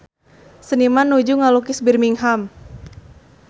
Seniman nuju ngalukis Birmingham